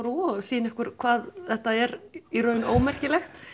og sýna ykkur hvað þetta er í raun ómerkilegt